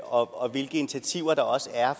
og hvilke initiativer der også er